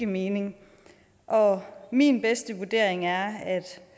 mening og min bedste vurdering er at